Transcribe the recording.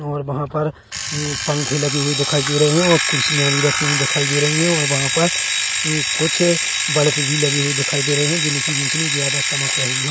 और वहाँ पर हम्म पंखे लगे हुए दिखाई दे रहे है और कुर्सियां भी रखी हुई दिखाई दे रही है और वहाँ पर हम्म कुछ बल्ब भी लगी हुए दिखाई दे रहे है जिनकी रोशनी ज्यादा चमक रही है।